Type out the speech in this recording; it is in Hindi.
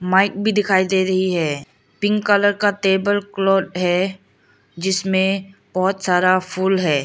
माइक भी दिखाई दे रही है पिंक कलर का टेबल क्लॉथ है जिसमें बहुत सारा फूल है।